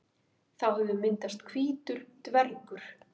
Þá hefur myndast hvítur dvergur.